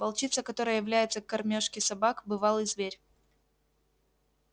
волчица которая является к кормёжке собак бывалый зверь